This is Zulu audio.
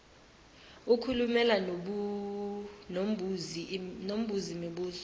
ukhulume nombuzi mibuzo